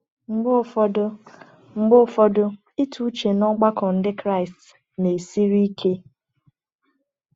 Mgbe ụfọdụ, Mgbe ụfọdụ, ịtụ uche n’ọgbakọ Ndị Kraịst na-esiri ike.